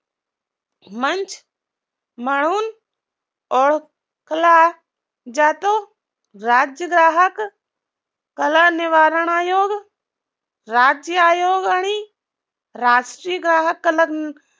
मंच म्हणून ओडखला जातो राज्य ग्राहक कालनिवारण आयोग राज्य आयोग आणि राष्ट्रीय ग्राहक